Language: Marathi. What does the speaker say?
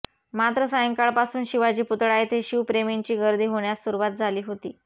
मात्र सायंकाळपासून शिवाजी पुतळा येथे शिवप्रेमींची गर्दी होण्यास सुरुवात झाली होती